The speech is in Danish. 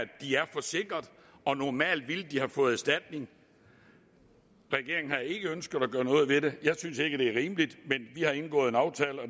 de er forsikret og normalt ville de have fået erstatning regeringen har ikke ønsket at gøre noget ved det jeg synes ikke det er rimeligt